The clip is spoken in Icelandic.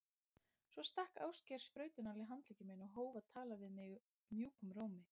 Svo stakk Ásgeir sprautunál í handlegg minn og hóf að tala við mig mjúkum rómi.